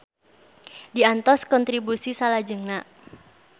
Diantos kontribusi salajengna.